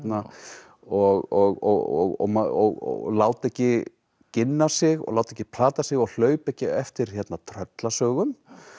og og láta ekki ginna sig og láta ekki plata sig og hlaupa ekki eftir tröllasögum